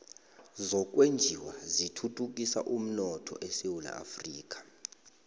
zokwenjiwa zithuthukisa umnotho esewula afrika